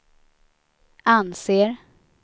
anser